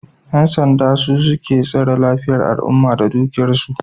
Yan sanda su suke tsare lafiyan al'umma da dukiyar su